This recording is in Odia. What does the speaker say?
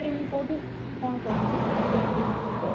କୋଉଠୁ କଣ କରିବି ତ